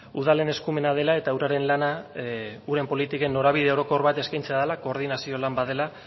udalen eskumena dela eta uraren lana uren politiken norabide orokor bat eskaintzea dela koordinazio lan bat dela